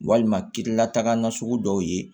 Walima kirilataga nasugu dɔw ye